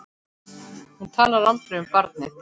Hún talar aldrei um barnið.